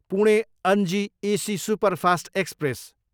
Pune, Ajni AC superfast express